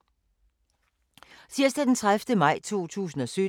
Tirsdag d. 30. maj 2017